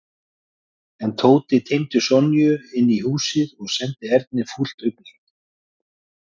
En Tóti teymdi Sonju inn í húsið og sendi Erni fúlt augnaráð.